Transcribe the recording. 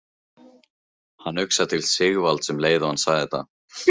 Hann hugsaði til Sigvalda um leið og hann sagði þetta.